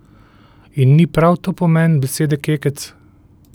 In ni prav to pomen besede kekec?